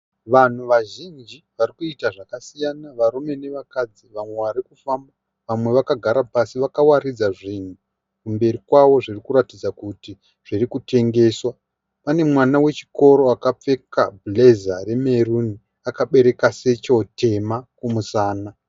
Vanhu vazhinji varikuita zvakasiyana varume nevakadzi. Vamwe varikufamba vamwe vagara pasi vakawaridza zvinhu kumberi kwavo zvirikuratidza kuti zvirikutengeswa. Pane mwana wechikoro akapfeka bhureza remerumi akabereka sechero tema kumusana.